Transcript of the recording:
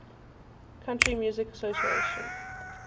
country music association